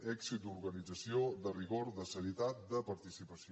èxit d’organització de rigor de serietat de participació